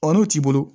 n'o t'i bolo